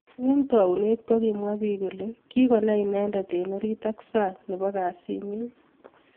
Eng taunet kokimwa bik kole kikonai inendet eng orit ak sang nebo kasit nyi.